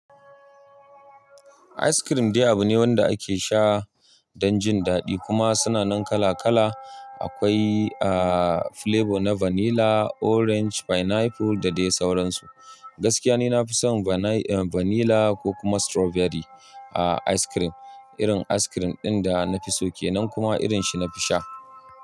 Ice cream diyya bu ne wanda ake sha don jin daɗi kuma suna nan kala kala. Akwai ah flavor na vanilla, orange, pineapple da dai sauransu. Gaskiya ni na fi son vanai vanilla ko kuma strawberry a ice cream. Irin ice cream ɗin da na fi so kenan kuma irin shi na fi sha.